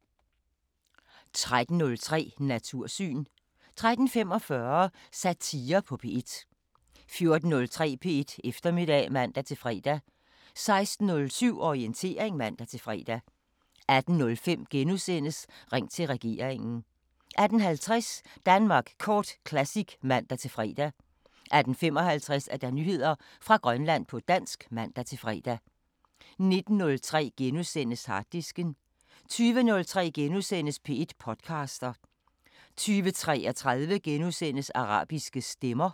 13:03: Natursyn 13:45: Satire på P1 14:03: P1 Eftermiddag (man-fre) 16:07: Orientering (man-fre) 18:05: Ring til regeringen * 18:50: Danmark Kort Classic (man-fre) 18:55: Nyheder fra Grønland på dansk (man-fre) 19:03: Harddisken * 20:03: P1 podcaster * 20:33: Arabiske Stemmer *